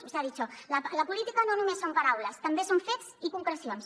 usted ha dicho la política no només són paraules també són fets i concrecions